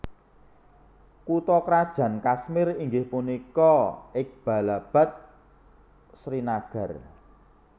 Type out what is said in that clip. Kutha krajan Kashmir inggih punika Iqbalabad Srinagar